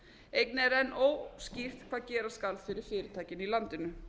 einnig er enn óskýrt hvað gera skal fyrir fyrirtækin í landinu